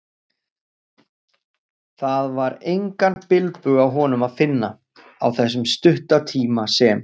Það var engan bilbug á honum að finna, á þessum stutta tíma sem